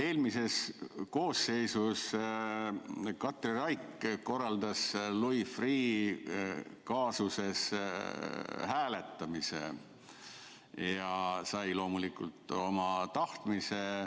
Eelmises koosseisus Katri Raik korraldas Louis Freeh' kaasuse üle hääletamise ja sai loomulikult oma tahtmise.